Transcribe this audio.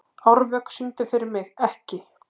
Árvök, syngdu fyrir mig „Ekki“.